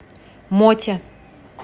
моте